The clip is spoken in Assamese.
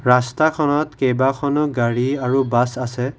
ৰাস্তা খনত কেইবাখনো গাড়ী আৰু বাছ আছে।